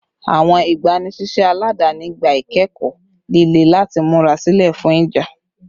Awọn igbanisiṣẹ aladani gba ikẹkọ lile lati mura silẹ fun ija